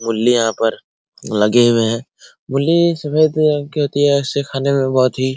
मुली यहाँ पर लगे हुए हैं मुली सफ़ेद रंग की होती है इसे खाने में बहुत ही --